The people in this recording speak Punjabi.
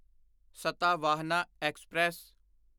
ਸਤਾਵਾਹਨਾ ਐਕਸਪ੍ਰੈਸ